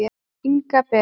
Inga Ben.